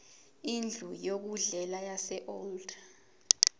indlu yokudlela yaseold